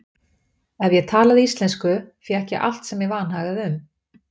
Ef ég talaði íslensku fékk ég allt sem mig vanhagaði um.